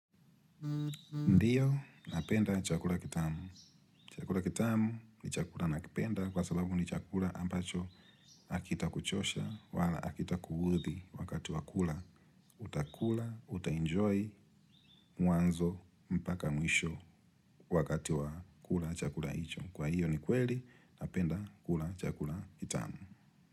Ndiyo napenda chakula kitamu. Chakula kitamu ni chakula nakipenda kwa sababu ni chakula ambacho hakita kuchosha wala hakita kuudhi wakati wa kula utakula utaenjoy mwanzo mpaka mwisho wakati wa kula chakula hicho. Kwa hiyo ni kweli napenda kula chakula kitamu.